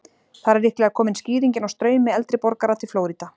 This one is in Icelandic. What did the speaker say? Þar er líklega komin skýringin á straumi eldri borgara til Flórída.